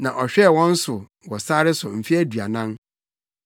na ɔhwɛɛ wɔn so wɔ sare so mfe aduanan.